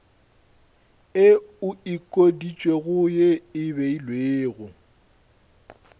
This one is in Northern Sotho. e okeditšwego ye e beilwego